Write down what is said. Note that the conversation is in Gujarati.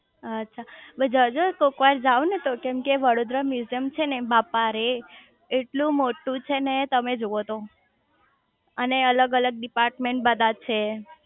આછા જજો કોકવાર જાવ ને તો કેમ કે વડોદરા મ્યુઝીયમ છે ને બાપારે એટલું મોટું છે ને તમે જોવો તો અને અલગ અલગ ડિપાર્ટમેન્ટ બધા છે અચ્છા